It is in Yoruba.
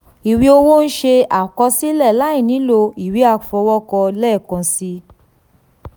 ìwé owó ń ṣe àkọsílẹ̀ láìnílò ìwé àfọwọ́kọ lẹ́ẹ̀kan si.